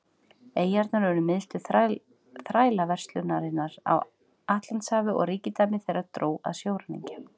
eyjarnar urðu miðstöð þrælaverslunarinnar á atlantshafi og ríkidæmi þeirra dró að sjóræningja